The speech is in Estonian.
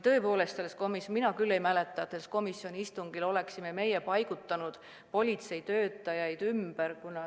Mina küll ei mäleta, et sellel komisjoni istungil me oleksime paigutanud politseitöötajaid ümber.